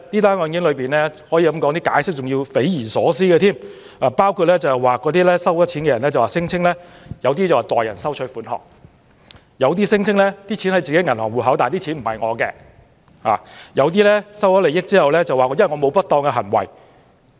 此外，就有關損款所作的解釋更可說是匪夷所思，包括收款人指那是代收款項，也有人聲稱戶口內的款項並不屬於自己，又有人在收受利益後辯稱自己沒有不當行為。